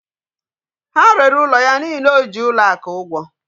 Ha rere ụlọ ya n'ihi na o ji ụlọ akụ ụgwọ